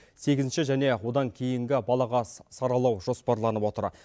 сегізінші және одан кейінгі балаға саралау жоспарланып отыр